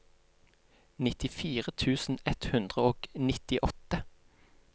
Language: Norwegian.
nittifire tusen ett hundre og nittiåtte